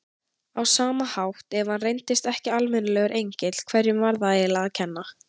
Á sama hátt, ef hann reyndist ekki almennilegur engill, hverjum var það eiginlega að kenna?